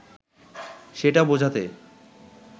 সেটা বোঝাতে